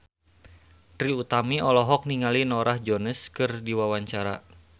Trie Utami olohok ningali Norah Jones keur diwawancara